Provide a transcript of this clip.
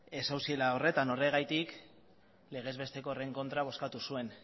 ez zauziela horretan horregatik legez besteko horren kontra bozkatu zuen